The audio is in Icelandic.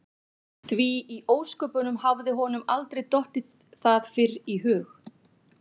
Því í ósköpunum hafði honum aldrei dottið það fyrr í hug?